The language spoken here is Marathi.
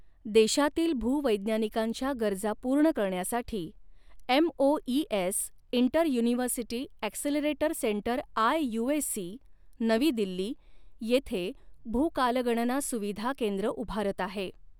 देशातील भू वैज्ञानिकांच्या गरजा पूर्ण करण्यासाठी MoES inter university accelerator centre IUAC, नवी दिल्ली येथे भू कालगणना सुविधा केंद्र उभारत आहे.